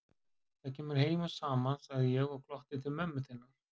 Það kemur heim og saman, sagði ég og glotti til mömmu þinnar.